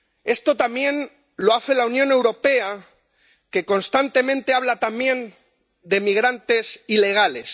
Esto también lo hace la Unión Europea, que constantemente habla también de migrantes ilegales.